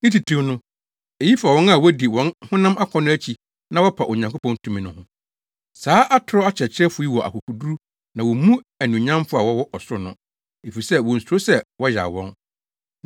Ne titiriw no, eyi fa wɔn a wodi wɔn honam akɔnnɔ akyi na wɔpa Onyankopɔn tumi no ho. Saa atoro akyerɛkyerɛfo yi wɔ akokoduru na wommu anuonyamfo a wɔwɔ ɔsoro no, efisɛ wonsuro sɛ wɔyaw wɔn.